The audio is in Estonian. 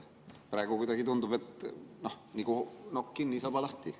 Praegu kuidagi tundub, et nagu nokk kinni, saba lahti.